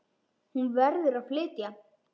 Hún verður að flytja.